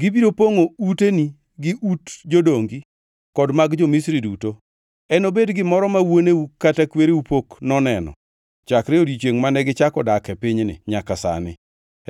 Gibiro pongʼo uteni gi ut jodongi kod mag jo-Misri duto; enobed gimoro ma wuoneu kata kwereu pok noneno chakre odiechiengʼ mane gichako dak e pinyni nyaka sani.’ ”